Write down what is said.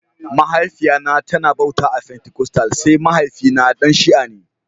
Mahaifiya na ta na bauta a fentikostal sai mahaifi na Dan shia ne